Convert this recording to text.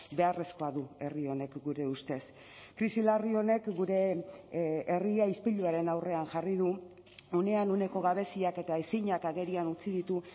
beharrezkoa du herri honek gure ustez krisi larri honek gure herria ispiluaren aurrean jarri du unean uneko gabeziak eta ezinak agerian utzi ditu